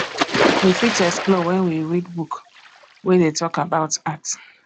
we fit explore when we read book wey dey talk about art